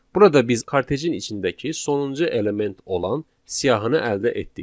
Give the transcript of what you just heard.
Burada biz kartejin içindəki sonuncu element olan siyahını əldə etdik.